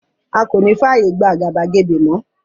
A ko ní fàyè gba àgàbàgebè mo